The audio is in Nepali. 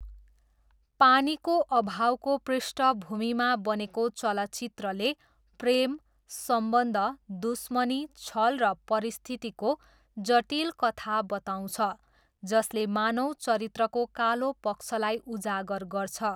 पानीको अभावको पृष्ठभूमिमा बनेको चलचित्रले प्रेम, सम्बन्ध, दुश्मनी, छल र परिस्थितिको जटिल कथा बताउँछ जसले मानव चरित्रको कालो पक्षलाई उजागर गर्छ।